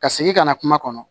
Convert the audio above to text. Ka segin ka na kuma kɔnɔ